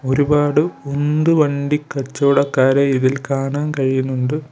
ഒരുപാട് ഉന്തു വണ്ടി കച്ചവടക്കാരെ ഇതിൽ കാണാൻ കഴിയുന്നുണ്ട്.